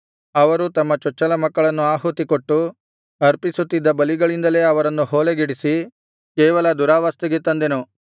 ಅವರು ತಮ್ಮ ಚೊಚ್ಚಲಮಕ್ಕಳನ್ನು ಆಹುತಿಕೊಟ್ಟು ಅರ್ಪಿಸುತ್ತಿದ್ದ ಬಲಿಗಳಿಂದಲೇ ಅವರನ್ನು ಹೊಲೆಗೆಡಿಸಿ ಕೇವಲ ದುರಾವಸ್ಥೆಗೆ ತಂದೆನು